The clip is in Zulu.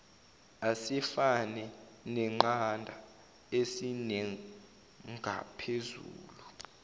asefane neqanda esinengaphezulu